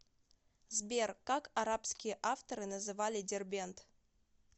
сбер как арабские авторы называли дербент